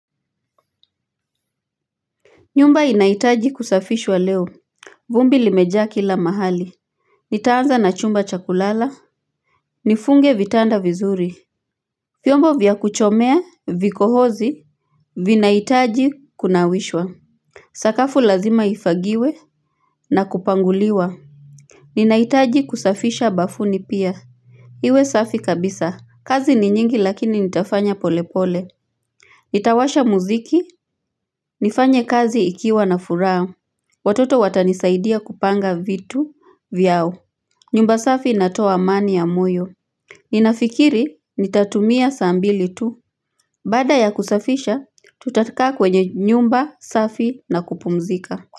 Nyumba inaitaji kusafishwa leo vumbi limejaa kila mahali Nitaanza na chumba cha kulala Nifunge vitanda vizuri vyombo vya kuchomea vikohozi Vinaitaji kunawishwa Sakafu lazima ifagiwe na kupanguliwa Ninaitaji kusafisha bafuni pia Iwe safi kabisa kazi ni nyingi lakini nitafanya polepole Nitawasha muziki nifanye kazi ikiwa na furaa Watoto watanisaidia kupanga vitu vyao. Nyumba safi inatoa amani ya moyo. Ninafikiri nitatumia saa mbili tu. Baada ya kusafisha, tutakaa kwenye nyumba safi na kupumzika.